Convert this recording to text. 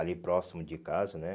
Ali próximo de casa, né?